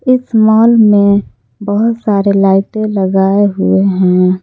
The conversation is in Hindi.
इस मॉल में बहुत सारे लाइटें लगाए हुए हैं।